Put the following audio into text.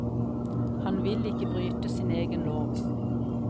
Han vil ikke bryte sin egen lov.